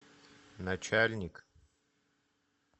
начальник